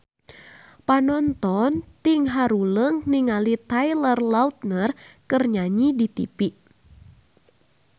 Panonton ting haruleng ningali Taylor Lautner keur nyanyi di tipi